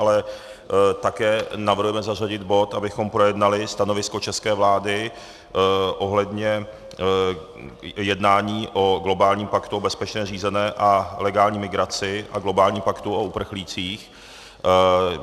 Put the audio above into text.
Ale také navrhujeme zařadit bod, abychom projednali stanovisko české vlády ohledně jednání o globálním paktu o bezpečné, řízené a legální migraci a globálním paktu o uprchlících.